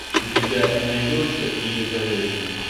у тебя найдется иезавель